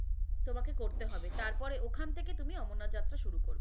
তোমাকে করতে হবে, তাপরে ওখান থেকে তুমি অমরনাথ যাত্রা শুরু করবে।